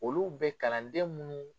Olu bɛ kalanden munnu